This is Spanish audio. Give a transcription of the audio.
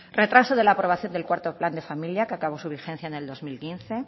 retraso de la aprobación del cuarto plan de familia que acabó su vigencia en el dos mil quince